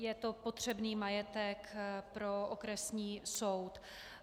Je to potřebný majetek pro okresní soud.